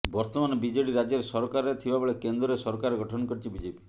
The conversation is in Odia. ବର୍ତ୍ତମାନ ବିଜେଡ଼ି ରାଜ୍ୟରେ ସରକାରରେ ଥିବା ବେଳେ କେନ୍ଦ୍ରରେ ସରକାର ଗଠନ କରିଛି ବିଜେପି